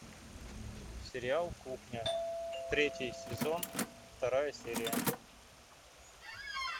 сериал кухня третий сезон вторая серия